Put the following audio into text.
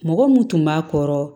Mɔgɔ mun tun b'a kɔrɔ